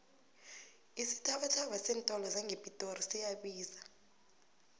isithabathaba seentolo sangepitori siyabiza